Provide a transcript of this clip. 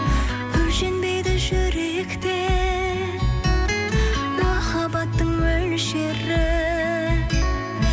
өлшенбейді жүректе махаббаттың мөлшері